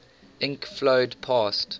ink flowed past